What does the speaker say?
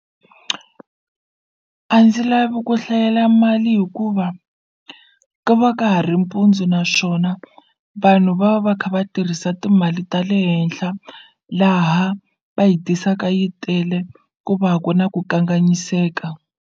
A ndzi lavi ku hlayela mali hikuva ku va ka ha ri mpundzu naswona vanhu va va kha va tirhisa timali ta le henhla laha va yi tisaka yi tele ku va ku na ku kanganyiseka.